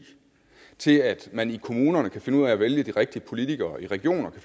til at man i kommunerne kan finde ud af at vælge de rigtige politikere og i regionerne